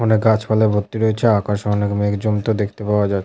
অনেক গাছপালা ভর্তি রয়েছে। আকাশে অনেক মেঘ জমতে দেখতে পাওয়া যা --